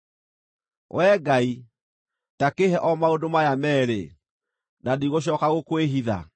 “Wee Ngai, ta kĩĩhe o maũndũ maya meerĩ, na ndigũcooka gũkwĩhitha: